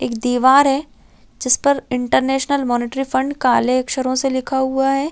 एक दीवार है जिस पर इंटरनेशनल मोनेटरी फण्ड काले अच्छरो से लिखा हुआ हैं ।